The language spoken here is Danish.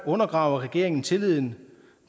undergraver regeringen tilliden